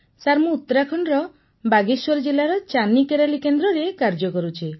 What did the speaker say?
sir ମୁଁ ଉତ୍ତରାଖଣ୍ଡର ବାଗେଶ୍ୱର ଜିଲ୍ଲାର ଚାନି କୋରାଲୀ କେନ୍ଦ୍ରରେ କାର୍ଯ୍ୟ କରୁଛି